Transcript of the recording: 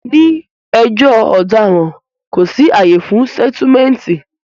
Ní ẹjọ́ ọ̀daràn, kò sí àyè fún sẹ́túmẹ̀ǹtì